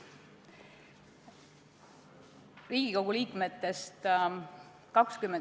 Head kolleegid!